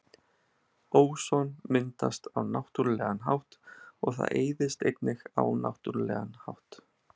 Óson myndast á náttúrulegan hátt og það eyðist einnig á náttúrulegan hátt.